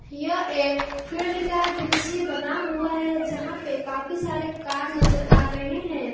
यह एक फील्ड का दृश्य बना हुआ है जहाँ पे काफी सारे कार नजर आ रहे हैं।